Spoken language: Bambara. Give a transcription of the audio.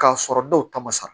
K'a sɔrɔ dɔw ta ma sara